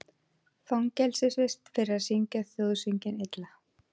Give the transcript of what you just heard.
Fangelsisvist fyrir að syngja þjóðsönginn illa